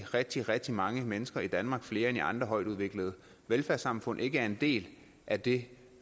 rigtig rigtig mange mennesker i danmark flere end i andre højtudviklede velfærdssamfund ikke er en del af det